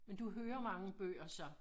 Men du hører mange bøger så